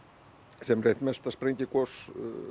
sem er eitt mesta sprengigos